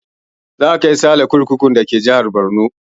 Za a kai sale kurkukun da ke jihar Borno